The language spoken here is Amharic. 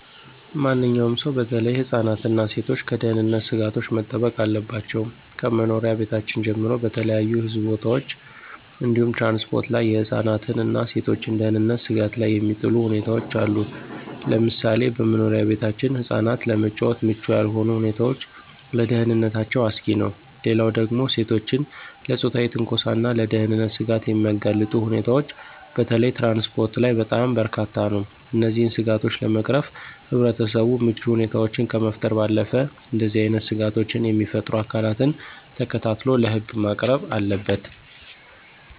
ማንኛውም ሰው በተለይ ህፃናት እና ሴቶች ከደህንነት ስጋቶች መጠበቅ አለባቸው። ከመኖሪያ ቤታችን ጀምሮ በተለያዩ ህዝብ ቦታዎች እንዲሁም ትራንስፖርት ላይ የህፃናትን እና የሴቶችን ደህንነት ስጋት ላይ የሚጥሉ ሁኔታዎች አሉ፤ ለምሳሌ በመኖሪያ ቤታችን ህፃናት ለመጫወት ምቹ ያልሆኑ ሁኔታዎች ለደህንነታቸው አስጊ ነው። ሌላው ደግሞ ሴቶችን ለፆታዊ ትንኮሳና ለደህንነት ስጋት የሚያጋልጡ ሁኔታዎች በተለይ ትራንስፖርት ላይ በጣም በርካታ ነው። እነዚህን ስጋቶች ለመቅረፍ ህብረተሰቡ ምቹ ሁኔታዎችን ከመፍጠር ባለፈ እንደዚህ አይነት ስጋቶችን የሚፈጥሩ አካላትን ተከታትሎ ለህግ ማቅረብ አለበት።